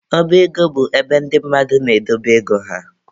Ọba ego bụ ebe ndị mmadụ na-edobe ego ha.